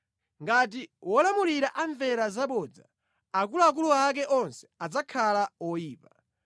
Ngati wolamulira amvera zabodza, akuluakulu ake onse adzakhala oyipa.